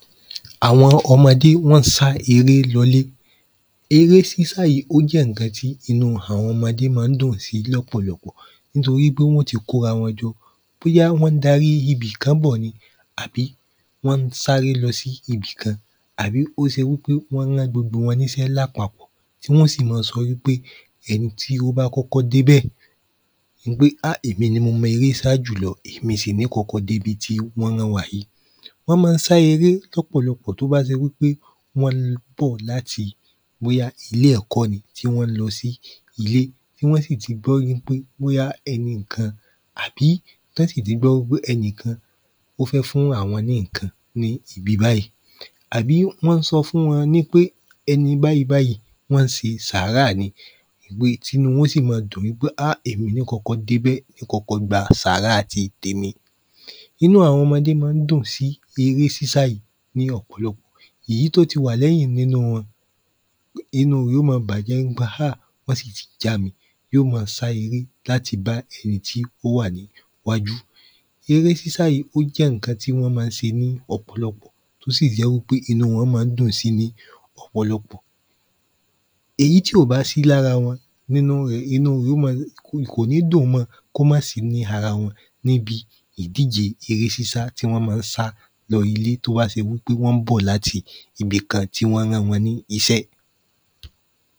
àwọn ọmọdé wọ́n n sá eré lọlé eré sísá yí ó jẹ́ nnkan tí inú àwọn ọmọdé má n dùn sí lọ́pọ̀lọpọ̀ nítorí pé wọ́n ó ti kórawọn jọ bóyá wọ́n n darí ibìkán bọ̀ ni àbí wọ́n n sáré lọsí ibìkán àbí ó ṣe wípé wọ́n rán gbogbo wọn níṣẹ́ lápapọ̀ tí wọ́n ó sì ma sọ wípé ẹni tí ó bá kọ́kọ́ débè wípé á èmi ni mo mọ eré sá jùlọ èmi sì ní n kọ́kọ́ dé ibi tí wọ́n rán wa yí wọ́n má n sá eré lọ́pọ̀lọpọ̀ tó bá ṣe wípé wọ́n n bọ̀ láti bóyá ilé-ẹ̀kọ́ ni tí wọ́n n lọ sí ilé tí wọ́n sì ti gbó wípé bóyá ẹnìkan àbí tọ́ si le gbọ́ wípé ẹnìkan ó fẹ́ fún àwọn ní nnkan ní ibi báyìí àbí wọ́n sọ fún wọn nípé ẹni báyìí báyìí wọ́n n ṣe sàárà ni ri tínú wọn ó sì ma dùn pé á ẹ̀mi ní n ó kọ́kọ́ débẹ̀ n kọ́kọ́ gba sàárà ti tèmi inú àwọn ọmọdé má n dùn sí eré sísá yí ní ọ̀pòlọpọ̀ ìyí tó ti wà lẹ́yìn nínú wọn inú rẹ̀ ó ma bàjẹ́ ni pé à wọ́n sì ti jami yó mọ sá eré láti bá ẹni tí ó wà ní wájú eré sísá yí ó jẹ́ nnkan tí wọ́n má n ṣe ní ọpọlọ ó sì jẹ́ wípé inú wọ́n má n dùn sí eré ní ọ̀pòlọpọ̀ èyí tí ò bá sí lára wọn ninú rẹ̀ inú rẹ̀ ó ma n kò ní dùn mọ kó má sí ní arawọn níbi ìdíje eré sísá tí wọ́n má n sá lọ ilé tó bá ṣe wípé wọ́n n bọ̀ láti ibìkan tí wọ́n rán wọn ní iṣẹ́